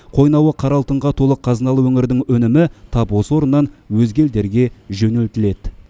қойнауы қара алтынға толы қазыналы өңірдің өнімі тап осы орыннан өзге елдерге жөнелтіледі